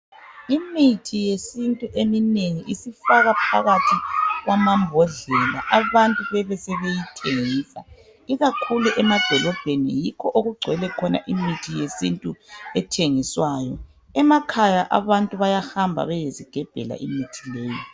Imithi yesintu eminengi isifakwa phakathi kwamambodlela abantu bebesebeyithengisa, ikakhulu emadolobheni yikho okugcwele khona imithi yesintu ethengiswayo kukanti emakhaya abantu bayahamba bayezigebhela imithi leyi